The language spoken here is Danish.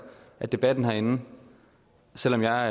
at debatten herinde selv om jeg